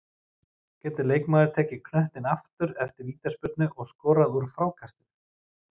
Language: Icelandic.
Getur leikmaður tekið knöttinn aftur eftir vítaspyrnu og skorað úr frákastinu?